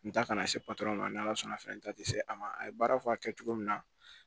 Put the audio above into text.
N ta ka na se patɔrɔn ma n'ala sɔnna n ta tɛ se a ma a ye baara fɔ a kɛ cogo min na